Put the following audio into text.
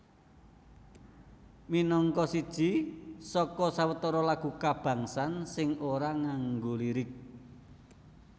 Minangka siji saka sawetara lagu kabangsan sing ora nganggo lirik